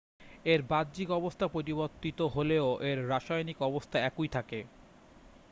এর বাহ্যিক অবস্থা পরিবর্তিত হলেও এর রাসায়নিক অবস্থা একই থাকে